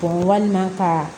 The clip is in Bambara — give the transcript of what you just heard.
walima ka